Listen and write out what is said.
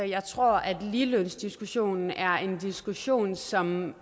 jeg tror at ligelønsdiskussionen er en diskussion som